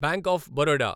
bank of Baroda